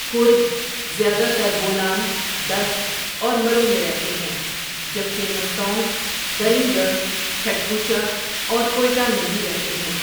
کرد زیاده تر بولان، دشت اور مرو میں رهتے هیں جبکه مستونگ، درینگڑھ، کھڈکوچه اور کویٹه میں بهی رهتے هیں.